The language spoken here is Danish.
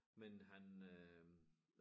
Men han øh